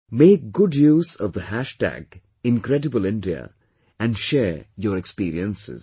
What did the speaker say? Make good use of the hash tag Incredible India and share your experiences